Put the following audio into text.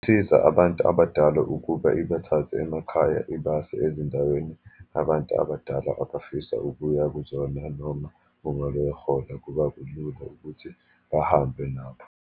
Siza abantu abadala ukuba ibathathe emakhaya, ibase ezindaweni abantu abadala abafisa ukuya kuzona, noma uma beyohola, kuba kulula ukuthi bahambe nabo.